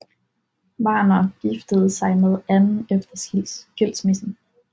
Warner giftede sig med Ann efter skilsmissen